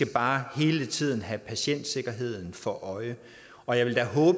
bare hele tiden have patientsikkerheden for øje og jeg vil